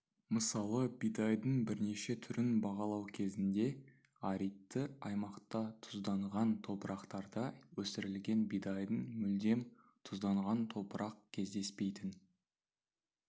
мысалы бидайдың бірнеше түрін бағалау кезінде аридті аймақта тұзданған топырақтарда өсірілген бидайдың мүлдем тұзданған топырақ кездеспейтін